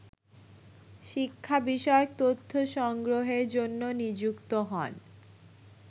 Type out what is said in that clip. শিক্ষা বিষয়ক তথ্য সংগ্রহরের জন্য নিযুক্ত হন